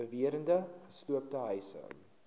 beweerde gesloopte huise